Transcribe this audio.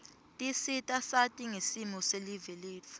tisita sati ngesimo selive letfu